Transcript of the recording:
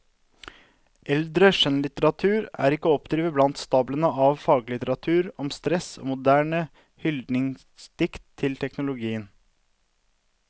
Eldre skjønnlitteratur er ikke å oppdrive blant stablene av faglitteratur om stress og moderne hyldningsdikt til teknologien.